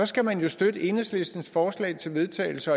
skal man jo støtte enhedslistens forslag til vedtagelse